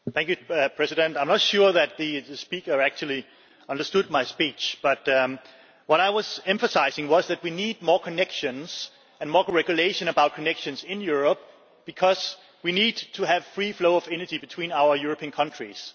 I am not sure whether the speaker actually understood my speech, but what I was emphasising was that we need more connections and more regulation about connections in Europe, because we need to have a free flow of energy between our European countries.